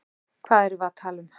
Hvað erum við að tala um?